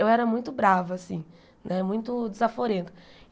Eu era muito brava, né muito desaforenta.